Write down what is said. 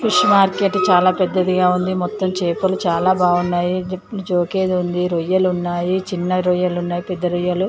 fish market చాలా పెద్దదిగా ఉంది మొత్తం చేపలు చాలా బాగున్నాయి అని జోకేది ఉంది రొయ్యలు ఉన్నాయి చిన్న రొయ్యలు ఉన్నాయి పెద్ద రొయ్యలు--